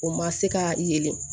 O ma se ka yelen